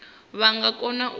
vha nga kona u zwi